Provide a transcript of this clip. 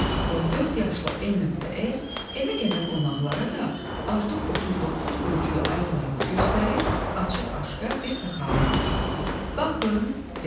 Və dörd yaşlı N.S evə gələn qonaqlara da artıq 39 ölçülü ayaqlarını göstərib, açıq-aşkar bir fəxarətlə: Baxın, deyirdi.